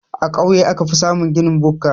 A kauye aka fi samun ginin bukka.